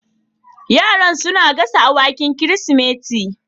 Yaran suna gasa awakin Kirsimeti